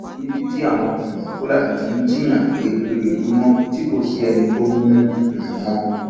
níbi tí àwọn um fúlàní ti ń jíìyàn gbé lójoojúmọ tí kò sì sẹni tó mú um wọn